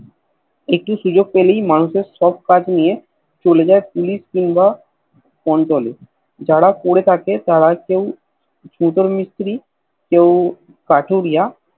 একটু সুযোগ পেলেই মানুষের সব কাজ নিয়ে চলে যায় Police কিংবা অঞ্চলে যারা পরে থাকে তার কেও ছুতোর মিস্ত্রী কেও কাঠুরিয়া